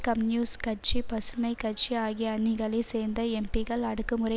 communist கட்சி பசுமை கட்சி ஆகிய அணிகளைச் சேர்ந்த எம்பிக்கள் அடுக்குமுறை